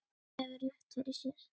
Og hefur rétt fyrir sér.